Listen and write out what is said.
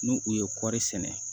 N'u u ye kɔri sɛnɛ